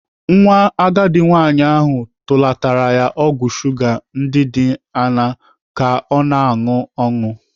Nwa agadi nwaanyị ahụ tụlatara ya ọgwụ shuga ndị dị aṅaa ka ọ na-anụ aṅụ.